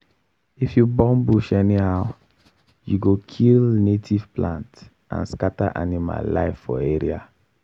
if you burn bush anyhow you go kill native plant and scatter animal life for area.